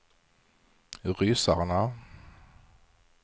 ryssarna